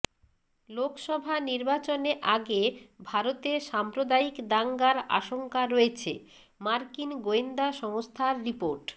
লোকসভা নির্বাচনে আগে ভারতে সাম্প্রদায়িক দাঙ্গার আশঙ্কা রয়েছেঃ মার্কিন গোয়েন্দা সংস্থার রিপোর্ট